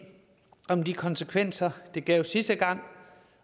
om de konsekvenser det gav sidste gang